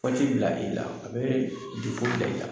Waati bilali la a be bila i la.